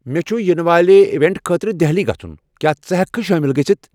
مے چُھ یِنہٕ والِہ ایوینٹ خٲطرٕ دہلی گژُھن، کیا ژٕ ہیکِہ کھہ یِہ شٲمل کٔرِتھ ؟